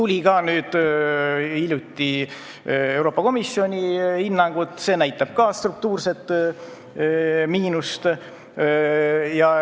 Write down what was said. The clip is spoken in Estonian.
Hiljuti tuli Euroopa Komisjoni hinnang, mis ka näitab struktuurset miinust.